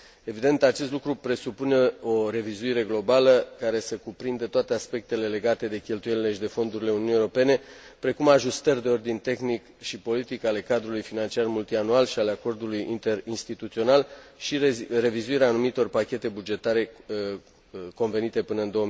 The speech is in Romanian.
Evident, acest lucru presupune o revizuire globală, care să cuprindă toate aspectele legate de cheltuielile și de fondurile Uniunii Europene, precum ajustări de ordin tehnic și politic ale cadrului financiar multianual și ale Acordului interinstituțional și revizuirea anumitor pachete bugetare convenite până în